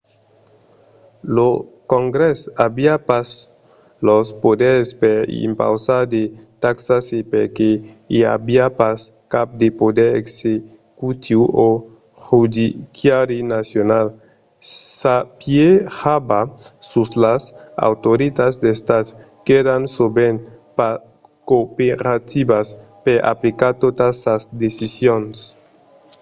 lo congrès aviá pas los poders per impausar de taxas e perque i aviá pas cap de poder executiu o judiciari nacional s'apiejava sus las autoritats d'estat qu'èran sovent pas cooperativas per aplicar totas sas decisions